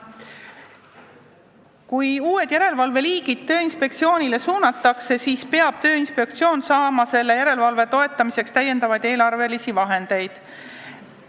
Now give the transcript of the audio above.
Kui uut liiki järelevalve Tööinspektsioonile suunatakse, siis peab inspektsioon saama selle järelevalve tegemiseks täiendavaid eelarvevahendeid.